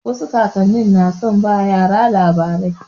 Wasu kakan ni na son ba yara labarai.